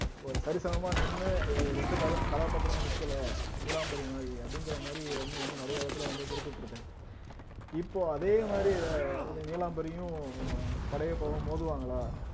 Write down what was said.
ஒரு சரிசமமா நின்னு எ எந்த கதா கதாபாத்திரமும் நிக்கல நீலாம்பரி மாதிரி அப்படிங்கிற மாதிரி ரஜினி வந்து நிறைய இடத்துல வந்து குறிப்பிட்டு இருக்காரு இப்போ அதே மாதிரி நீலாம்பரியும் படையப்பாவும் மோதுவாங்களா